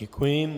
Děkuji.